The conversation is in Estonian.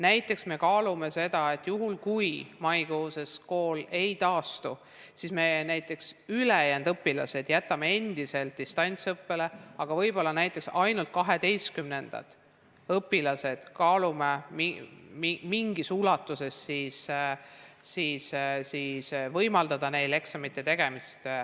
Näiteks, me kaalume seda, et juhul kui mais kool ei taastu, siis me ülejäänud õpilased jätame endiselt distantsõppele, aga võib-olla ainult 12. klasside õpilaste puhul kaalume, kas võimaldada neil mingis ulatuses eksamite tegemist.